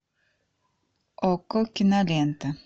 окко кинолента